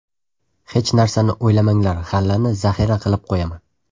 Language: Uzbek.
Hech narsani o‘ylamanglar g‘allani zaxira qilib qo‘yaman.